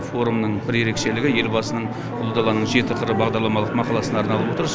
форумның бір ерекшелігі елбасының ұлы даланың жеті қыры бағдарламалық мақаласына арналып отыр